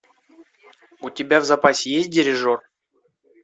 у тебя в запасе есть дирижер